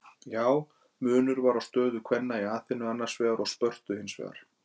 Já, munur var á stöðu kvenna í Aþenu annars vegar og Spörtu hins vegar.